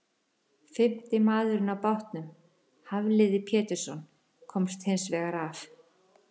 Fimmti maður á bátnum, Hafliði Pétursson, komst hins vegar af.